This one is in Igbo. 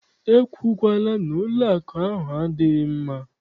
E kwukwala na ụlọakụ ahụ adịghị mma!